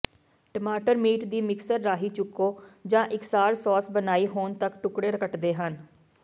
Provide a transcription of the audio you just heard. ਟਮਾਟਰ ਮੀਟ ਦੀ ਮਿਕਸਰ ਰਾਹੀਂ ਚੁਕੋ ਜਾਂ ਇਕਸਾਰ ਸੌਸ ਬਣਾਈ ਹੋਣ ਤਕ ਟੁਕੜੇ ਕੱਟਦੇ ਹਨ